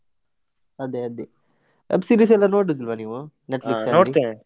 ಅದೇ ಅದೇ, web series ಎಲ್ಲ ನೋಡುದಿಲ್ವಾ ನೀವು .